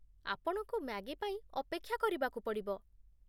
ଆପଣଙ୍କୁ ମ୍ୟାଗି ପାଇଁ ଅପେକ୍ଷା କରିବାକୁ ପଡ଼ିବ ।